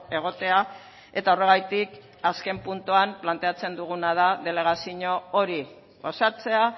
egotea eta horregatik azken puntuan planteatzen duguna da delegazio hori osatzea